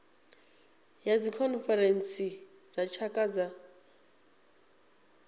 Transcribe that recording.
ya dzikhonferentsi dza tshaka dza